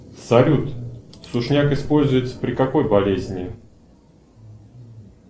салют сушняк используется при какой болезни